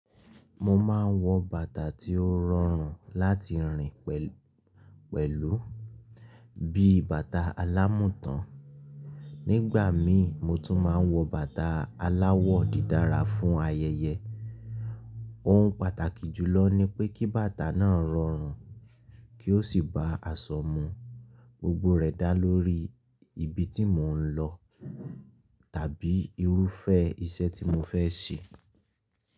Mo máa ń wọ bàtà tí ó rọrùn láti rìn pẹ̀lú, bí i bàtà alámùtàn. Nígbà mìí, mo tún máa ń wọ bàtà aláwọ̀ dídára fún ayẹyẹ. Ohun pàtàkì jùlọ ni pé kí bàtà náà rọrùn, kí ó sì bá àsọ mu. Gbogbo rẹ̀ dáa lórí ibi tí mò ń lọ tàbí irúfẹ́ iṣẹ́ tí mo fẹ́ ṣe.